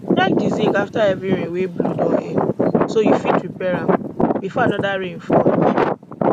check di zinc afta heavy rain wey blow don end so you fit repair am before anoda rain fall